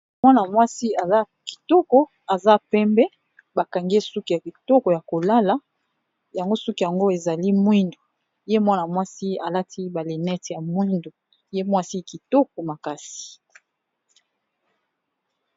Mwana mwasi Aza kitoko Aza penbe bakangiye suki Yako lala.